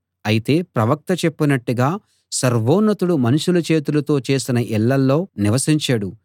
అయితే ప్రవక్త చెప్పినట్టుగా సర్వోన్నతుడు మనుషుల చేతులతో చేసిన ఇళ్ళలో నివసించడు